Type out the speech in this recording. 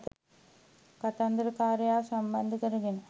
කතන්දරකාරයාව සම්බන්ධ කරගන්න